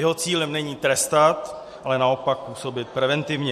Jeho cílem není trestat, ale naopak působit preventivně.